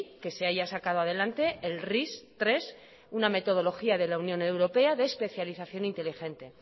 que se haya sacado adelante el ris tres una metodología de la unión europea de especialización inteligente